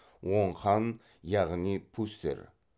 оң хан яғни пустер